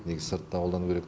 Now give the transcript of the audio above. негізі сыртта қолдану керек